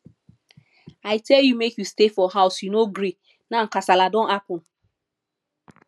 i tell you make you stay for house you no gree now kasala don happen